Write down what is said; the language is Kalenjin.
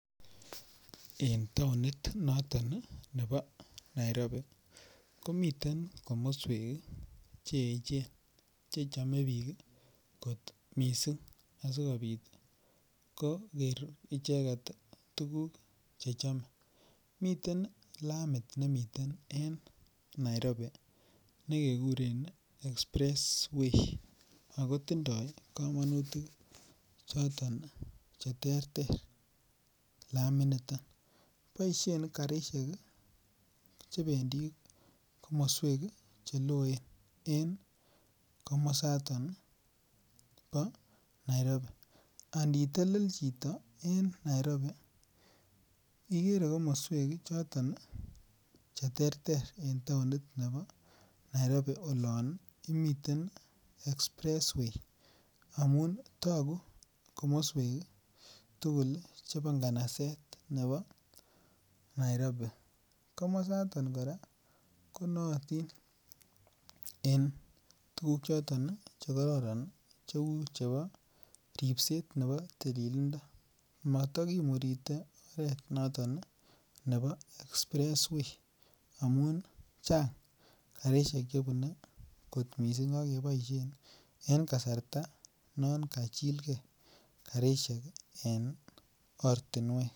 En taonit noton nebo Nairobi komiten komoswek Che echen Che chome bik kot mising asikobit koger icheget tuguk Che chome miten lamit nemiten en Nairobi nekekuren express way ago tindoi kamanutik choton Che terter laminito boisien karisiek chebendi komoswek Che loen en komasato bo Nairobi Ani telel chito en Nairobi igere komoswek choton Che terter en taonit nebo Nairobi olon imiten express way amun togu komoswek tugul chebo nganaset nebo Nairobi komosaton kora ko nootin en tuguk choton Che kororon cheu chebo ribset nebo tililindo motokimuritei oret noton nebo express way amun Chang karisiek chebune kot mising ak keboisien en kasarta non kachilgei karisiek en ortinwek